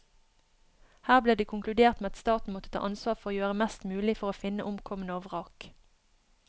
Her ble det konkludert med at staten måtte ta ansvar for å gjøre mest mulig for å finne omkomne og vrak.